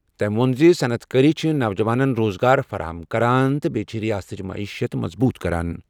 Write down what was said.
تٔمۍ ووٚن زِ صنعت کٲری چھِ نوجوانَن روزگار فراہم کران تہٕ سۭتۍ چھِ ریاستٕچ معیشت مضبوٗط کران۔